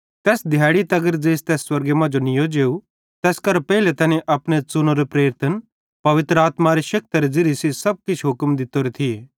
तैस दिहैड़ी तगर ज़ेइस तै स्वर्गे मांजो नीयो जेव तैस करां पेइले तैनी अपने च़ुनोरे प्रेरितन पवित्र आत्मारे शेक्तरे ज़िरिये सेइं किछ हुक्म भी दित्तोरे थी